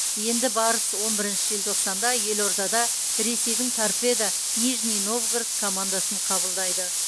енді барыс он бірінші желтоқсанда елордада ресейдің торпедо нижний новгород командасын қабылдайды